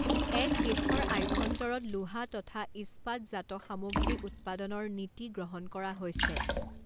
এক দেশৰ আভ্যন্তৰত লোহা তথা ইস্পাৎজাত সামগ্ৰী উৎপাদনৰ নীতি গ্ৰহণ কৰা হৈছে।